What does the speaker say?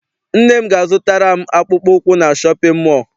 Nne m ga a zụtara m akpụkpọ ụkwụ na shọpịn mọọ.